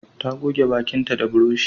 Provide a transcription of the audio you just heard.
Ta goge bakinta da burushi